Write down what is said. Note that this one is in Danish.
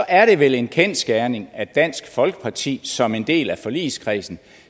er det vel en kendsgerning at dansk folkeparti som en del af forligskredsen